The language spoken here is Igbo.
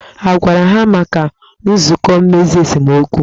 A gwara ha maka nzụkọ mmezi esemokwu?